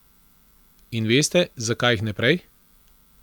In veste, zakaj jih ne prej?